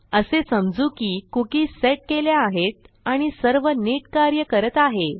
असे समजू की कुकी सेट केल्या आहेत आणि सर्व नीट कार्य करत आहे